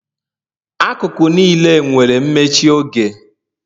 Akụkụ niile nwere mmechi oge